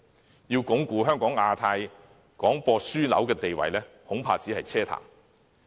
若說要鞏固香港的亞太區廣播樞紐地位，恐怕只是奢談。